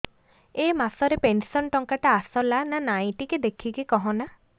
ଏ ମାସ ରେ ପେନସନ ଟଙ୍କା ଟା ଆସଲା ନା ନାଇଁ ଟିକେ ଦେଖିକି କହନା